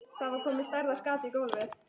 Það var komið stærðar gat í gólfið.